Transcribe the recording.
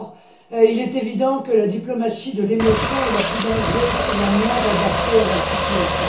Or, il est évident que la diplomatie de l'émotion est la plus dangereuse et la moins adaptée à la situation.